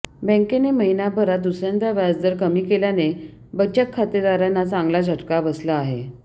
बँकेने महिनाभरात दुसऱ्यांदा व्याजदर कमी केल्याने बचक खातेदारांना चांगला झटका बसला आहे